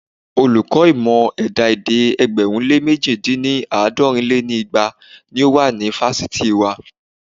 Olùkọ́ ìmọ̀ ẹ̀dá-èdè ẹgbẹ̀rún lé mẹ̀ji dín ní- àádọ́rin lé igba ni ó wà ní fásitì wa.